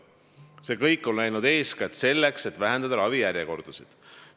See kõik on tehtud eeskätt selleks, et vähendada ravijärjekordasid.